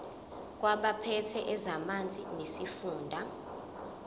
kwabaphethe ezamanzi nesifunda